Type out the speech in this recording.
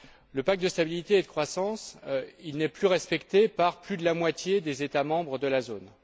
Le pacte de stabilité et de croissance n'est plus respecté par plus de la moitié des États membres de la zone.